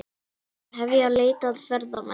Hefja leit að ferðamanni